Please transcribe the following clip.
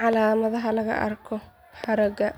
Calaamadaha laga arko haragga